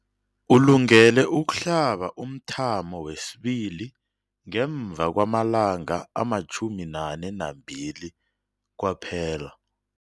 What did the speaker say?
Ulungele ukuhlaba umthamo wesibili ngemva kwama-42 wamalanga kwaphela.